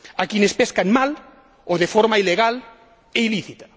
a quienes pescan mal o de forma ilegal e ilícita.